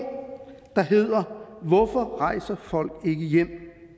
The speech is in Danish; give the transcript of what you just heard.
der hedder hvorfor rejser folk ikke hjem